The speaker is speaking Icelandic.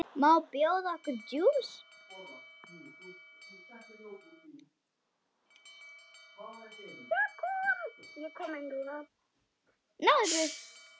Má bjóða okkur djús?